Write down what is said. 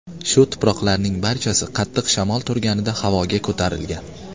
Shu tuproqlarning barchasi qattiq shamol turganida havoga ko‘tarilgan.